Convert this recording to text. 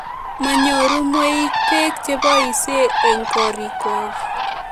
Manyoru mweik peek che poisyei eng' korikwak